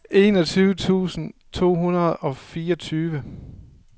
enogtyve tusind to hundrede og fireogtyve